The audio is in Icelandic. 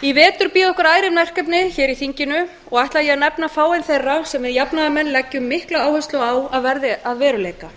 í vetur bíða okkar ærin verkefni í þinginu og ætla ég að nefna fáein þeirra sem við jafnaðarmenn leggjum mikla áherslu á að verði að veruleika